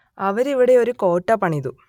അവർ ഇവിടെ ഒരു കോട്ട പണിതു